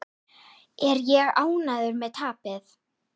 Er ég ánægður með tapið?